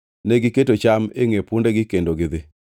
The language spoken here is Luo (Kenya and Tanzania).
negiketo cham e ngʼe pundegi kendo gidhi.